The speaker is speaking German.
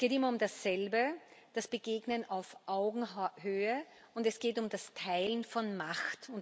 Es geht immer um dasselbe das Begegnen auf Augenhöhe und es geht um das Teilen von Macht.